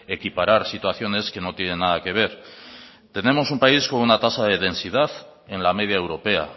equiparar situaciones que no tienen nada que ver tenemos un país con una tasa de densidad en la media europea